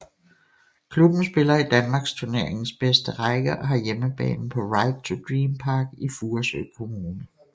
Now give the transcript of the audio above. Klubben spiller i Danmarksturneringens bedste række og har hjemmebane på Right to Dream Park i Furesø Kommune